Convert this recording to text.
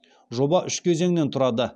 жоба үш кезеңнен тұрады